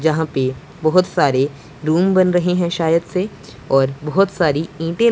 यहां पे बहुत सारे रूम बन रहे हैं शायद से और बहुत सारी ईंटे--